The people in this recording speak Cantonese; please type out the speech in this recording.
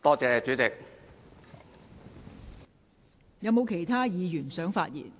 是否有其他議員想發言？